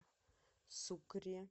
сукре